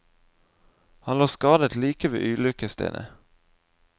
Han lå skadet like ved ulykkesstedet.